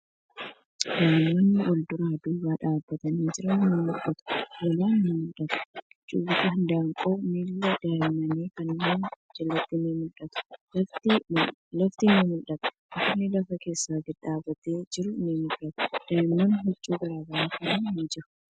Daa'imman walduraa duuba dhaabbatanii jiran ni mul'atu. Hoolaan ni mul'ata. Cuuciin handaaqqoo miila daa'imman kanneenii jalatti ni mul'atu. Lafti ni mul'ata. Mukni lafa keessa gadi dhaabbatee jiru ni mul'ata. Daa'imman huccuu garagaraa uffatanii jiru.